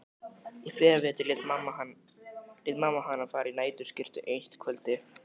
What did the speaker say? Í fyrravetur lét mamma hana fara í nærskyrtu eitt kvöldið.